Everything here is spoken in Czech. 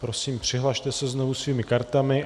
Prosím, přihlaste se znovu svými kartami.